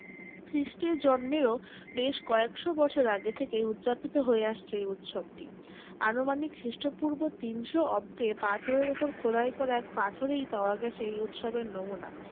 খ্রীষ্টের জন্মেরও বেশ কয়েকশ’ বছর আগে থেকেই উদযাপিত হয়ে আসছে এই উৎসবটি। আনুমানিক খ্রীষ্টপূর্ব তিন শ’ অব্দে পাথরের উপর খোদাই করা এক পাথরেই পাওয়া গেছে এই উৎসবের নমুনা।